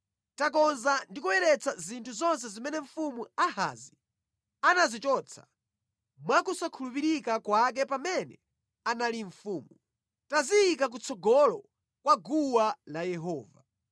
Takonza ndi kuyeretsa zinthu zonse zimene mfumu Ahazi anazichotsa mwa kusakhulupirika kwake pamene anali mfumu. Taziyika kutsogolo kwa guwa la Yehova.”